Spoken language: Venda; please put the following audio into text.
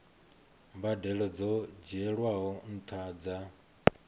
mbadelo dzo dzhielwaho nṱha dza